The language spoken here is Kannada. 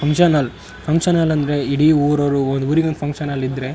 ಫಂಕ್ಷನ್ ಹಾಲ್ ಫಂಕ್ಷನ್ ಹಾಲ್ ಅಂದ್ರೆ ಇಡೀ ಊರವ್ರು ಒಂದು ಊರಿಗೊಂದು ಫಂಕ್ಷನ್ ಹಾಲ್ ಇದ್ರೆ --